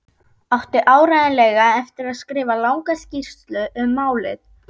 Átti áreiðanlega eftir að skrifa langa skýrslu um málið.